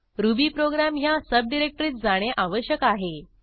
Ruby program ह्या सबडिरेक्टरीत जाणे आवश्यक आहे